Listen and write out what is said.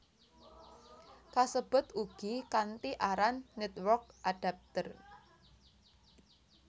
Kasebut ugi kanthi aran Network Adapter